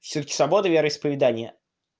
всё-таки свобода вероисповедания